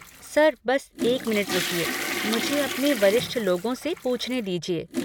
Sir बस एक minute रुकिए, मुझे अपने वरिष्ठ लोगों से पूछने दीजिए।